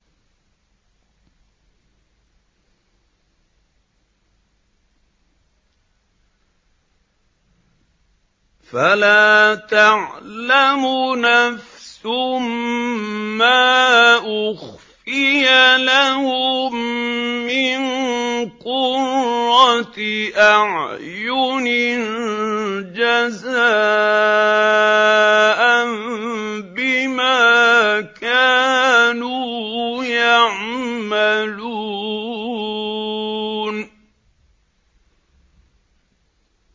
فَلَا تَعْلَمُ نَفْسٌ مَّا أُخْفِيَ لَهُم مِّن قُرَّةِ أَعْيُنٍ جَزَاءً بِمَا كَانُوا يَعْمَلُونَ